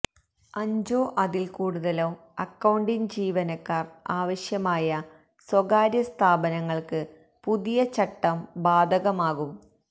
അഞ്ചോ അതില് കൂടുതലോ അക്കൌണ്ടിങ് ജീവനക്കാര് ആവശ്യമായ സ്വകാര്യ സ്ഥാപനങ്ങൾക്ക് പുതിയ ചട്ടം ബാധകമാകും